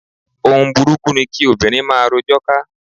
Ohun burúkú ni kí obìnrin máa rojọ́ ká.